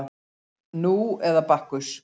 Nú eða Bakkus